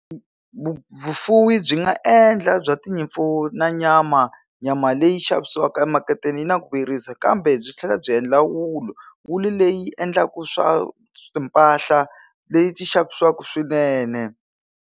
Vufuwi byi nga endla bya tinyimpfu na nyama nyama leyi xavisiwaka emaketeni yi na ku vuyerisa kambe byi tlhela byi endla wulu wulu leyi endlaku swa swa timpahla leti xavisiwaku swinene.